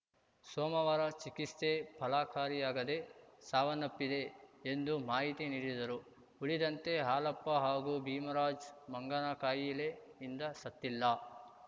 ಸೋಮವಾರ ಚಿಕಿಸ್ತೆ ಫಲಕಾರಿಯಾಗದೆ ಸಾವನ್ನಪ್ಪಿದೆ ಎಂದು ಮಾಹಿತಿ ನೀಡಿದರು ಉಳಿದಂತೆ ಹಾಲಪ್ಪ ಹಾಗೂ ಭೀಮರಾಜ್‌ ಮಂಗನಕಾಯಿಲೆಯಿಂದ ಸತ್ತಿಲ್ಲ